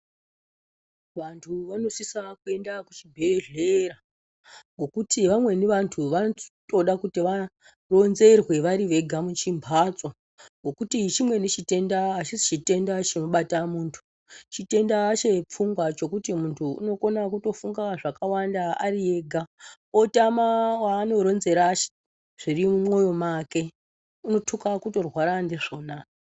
Vantu vanosisa kuenda kuchibhehlera ngokuti vamweni vantu vanotoda kuti varonzerwe vari vega muchimbatso ngokuti chimweni chitenda achisi chitenda chinobata muntu chitenda chepfungwa chekuti muntu unotokona kufunga zvakawanda ari ega otama waanoronzera zviri mumwoyo make unotuka kutorwara ndizvona